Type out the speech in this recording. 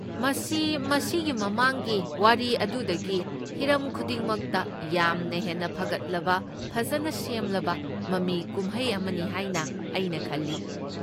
ꯃꯁꯤ ꯃꯁꯤꯒꯤ ꯃꯃꯥꯡꯒꯤ ꯋꯥꯔꯤ ꯑꯗꯨꯗꯒꯤ ꯍꯤꯔꯝ ꯈꯨꯗꯤꯡꯃꯛꯇ ꯌꯥꯝꯅ ꯍꯦꯟꯅ ꯐꯒꯠꯂꯕ, ꯐꯖꯅ ꯁꯦꯝꯂꯕ ꯃꯃꯤ ꯀꯨꯝꯍꯩ ꯑꯃꯅꯤ ꯍꯥꯏꯅ ꯑꯩꯅ ꯈꯜꯂꯤ꯫